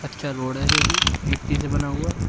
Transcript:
कच्चा रोड है जो कि मिट्टी से बना हुआ--